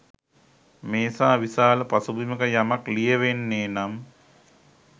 මේ සා විශාල පසුබිමක යමක් ලියැවෙන්නේ නම්